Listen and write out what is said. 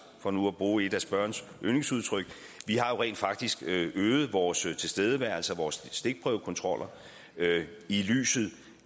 for nu at bruge et af spørgerens yndlingsudtryk vi har rent faktisk øget vores tilstedeværelse og antallet af stikprøvekontroller i lyset